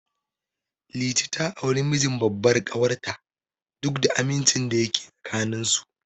Liti ta auri mijin babbar ƙawar ta, duk da amincin da yake tsakanin su.